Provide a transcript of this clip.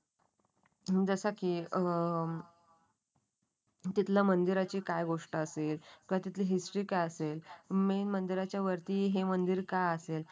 जसं की अं तिथलं मंदिराची काय गोष्ट असेल. किवा तिथली हिस्टरी काय असेल. मेन मंदिराच्या वरती हे मंदिर का असेल